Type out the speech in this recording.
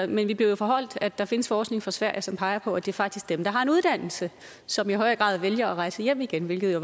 vi vi bliver jo foreholdt at der findes forskning fra sverige som peger på at det faktisk er dem der har en uddannelse som i højere grad vælger at rejse hjem igen hvilket jo